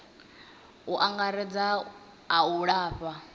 u angaredza a u lafha